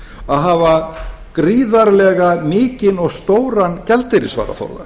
að hafa gríðarlega stóran og mikinn gjaldeyrisvaraforða